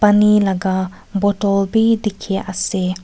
paani laga bottle bi dikhi ase.